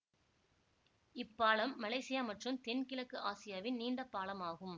இப்பாலம் Malaysia மற்றும் தென்கிழக்கு ஆசியாவின் நீண்ட பாலம் ஆகும்